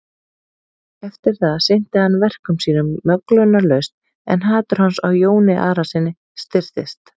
Eftir það sinnti hann verkum sínum möglunarlaust en hatur hans á Jóni Arasyni styrktist.